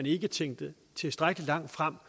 ikke tænkes tilstrækkelig langt frem